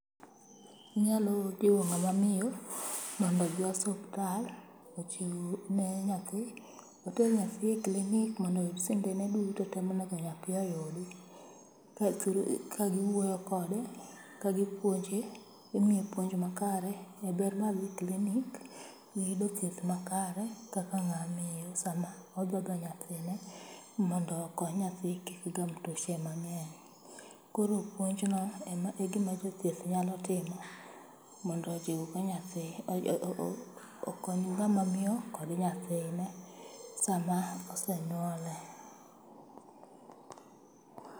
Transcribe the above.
Inyalo jiwo ng'ama miyo mondo odhi osuptal, ochiw ne nyathi. Oter nyathi e klinik mondo oyud sindene duto monego nyathi oyudi. LKa giwuoyo kode, ka gipuonje, imiye puonj makare e ber mar dhi klinik, gi yudo thieth makare kaka ng'aa miyo sama odhodho nyathine mondo okony nyathi kik gam tuoche mang'eny. Koro puonjno ema e gima jothieth nyalo timo mondo ojiw go nyathi, okony ng'ama miyo kod nyathine sama osenyuole.